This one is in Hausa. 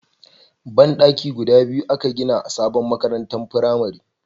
Ban daki guda biyu a ka gina a sabon makarantar firamare